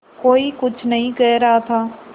कोई कुछ नहीं कह रहा था